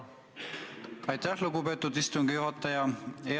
Aitäh, lugupeetud istungi juhataja!